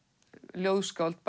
ljóðskáld